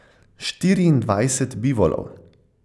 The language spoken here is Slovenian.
Štiriindvajset bivolov.